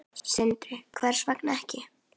Sindri: Hvers vegna ekki?